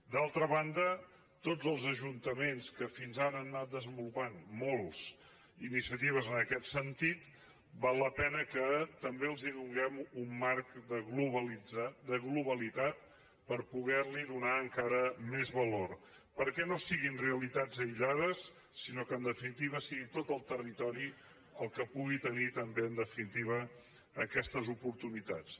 d’altra banda a tots els ajuntaments que fins ara han anat desenvolupant molts iniciatives en aquest sentit val la pena que també els donem un marc de globalitat per poder hi donar encara més valor perquè no siguin realitats aïllades sinó que en definitiva sigui tot el territori el que pugui tenir també en definitiva aquestes oportunitats